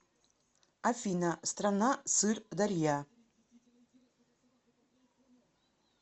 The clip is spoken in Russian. афина страна сыр дарья